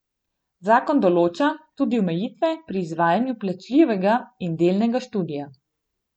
Zakon določa tudi omejitve pri izvajanju plačljivega in delnega študija.